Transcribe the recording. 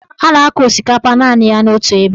A na-akọ osikapa naanị ya otu ebe.